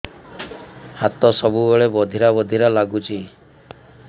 ହାତ ସବୁବେଳେ ବଧିରା ବଧିରା ଲାଗୁଚି